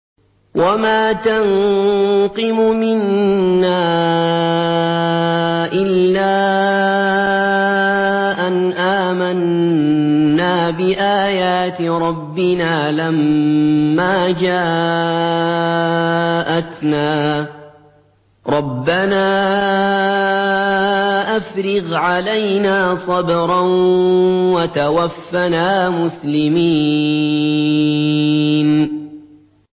وَمَا تَنقِمُ مِنَّا إِلَّا أَنْ آمَنَّا بِآيَاتِ رَبِّنَا لَمَّا جَاءَتْنَا ۚ رَبَّنَا أَفْرِغْ عَلَيْنَا صَبْرًا وَتَوَفَّنَا مُسْلِمِينَ